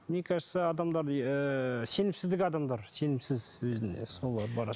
мне кажется адамдар ыыы сенімсіздік адамдар сенімсіз өзіне сол барады